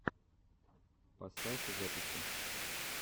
поставь записи